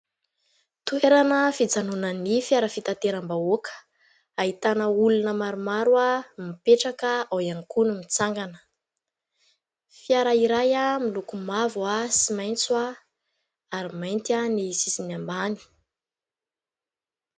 Toerana fijanonan'ny fiara fitateram-bahoaka. Ahitana olona maromaro mipetraka, ao ihany koa no mitsangana. Fiara iray miloko mavo sy maitso, ary mainty ny sisiny ambany.